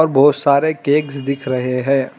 बहुत सारे केक्स दिख रहे हैं।